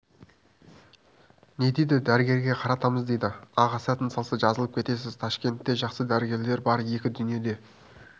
не дейді дәрігерге қаратамыз дейді аға сәтін салса жазылып кетесіз ташкентте жақсы дәрігерлер бар екі дүниеде